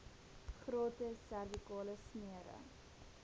gratis servikale smere